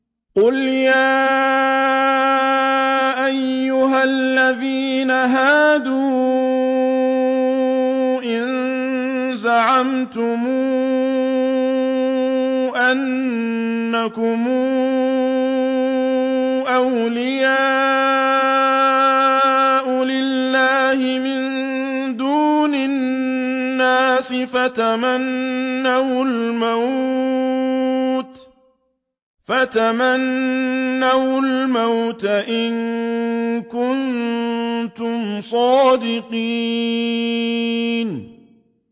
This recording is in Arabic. قُلْ يَا أَيُّهَا الَّذِينَ هَادُوا إِن زَعَمْتُمْ أَنَّكُمْ أَوْلِيَاءُ لِلَّهِ مِن دُونِ النَّاسِ فَتَمَنَّوُا الْمَوْتَ إِن كُنتُمْ صَادِقِينَ